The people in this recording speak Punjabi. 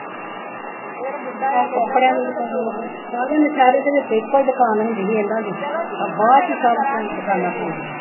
ਸਾਰੇ ਨੌਸ਼ਹਿਰੇ ਦੇ ਵਿਚ ਇੱਕੋ ਈ ਦੁਕਾਨ ਹੁੰਦੀ ਹੀ ਇਹਨਾਂ ਦੀ ਆ ਬਾਅਦ ਈ ਸਭ ਖਾਣਾ